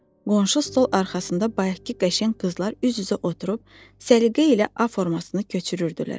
Qonşu stol arxasında bayaqkı qəşəng qızlar üz-üzə oturub səliqə ilə A formasını köçürürdülər.